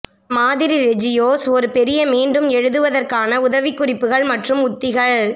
மாதிரி ரெஜியோஸ் ஒரு பெரிய மீண்டும் எழுதுவதற்கான உதவிக்குறிப்புகள் மற்றும் உத்திகள்